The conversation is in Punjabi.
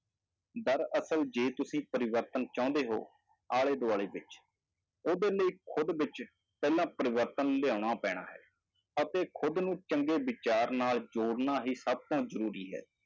ਦਰਅਸਲ ਜੇ ਤੁਸੀਂ ਪਰਿਵਰਤਨ ਚਾਹੁੰਦੇ ਹੋ ਆਲੇ ਦੁਆਲੇ ਵਿੱਚ, ਉਹਦੇ ਲਈ ਖੁੱਦ ਵਿੱਚ ਪਹਿਲਾਂ ਪਰਿਵਰਤਨ ਲਿਆਉਣਾ ਪੈਣਾ ਹੈ ਅਤੇ ਖੁਦ ਨੂੰ ਚੰਗੇ ਵਿਚਾਰ ਨਾਲ ਜੋੜਨਾ ਹੀ ਸਭ ਤੋਂ ਜ਼ਰੂਰੀ ਹੈ,